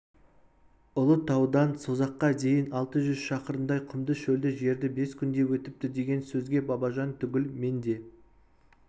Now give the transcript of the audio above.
ұлытаудан созаққа дейін алты жүз шақырымдай құмды шөлді жерді бес күнде өтіпті деген сөзге бабажан түгіл мен де